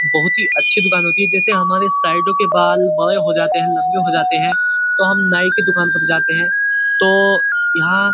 बोहोत अच्छी दुकान होती है। जैसे हमारे साइडो के बाल बड़े हो जाते हैं लंबे हो जाते हैं तो हम नाई के दुकान जाते हैं तो यहाँ--